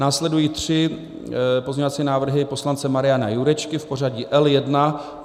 Následují tři pozměňovací návrhy poslance Mariana Jurečky v pořadí L1.